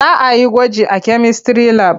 Za a yi gwaji a kemistry lab.